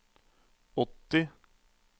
åtti